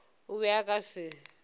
o be a ka se